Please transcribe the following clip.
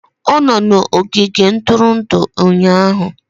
Ọ nọ n'ogige ntụrụndụ ụnyahụ